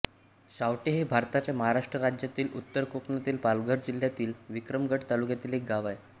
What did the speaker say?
शावटे हे भारताच्या महाराष्ट्र राज्यातील उत्तर कोकणातील पालघर जिल्ह्यातील विक्रमगड तालुक्यातील एक गाव आहे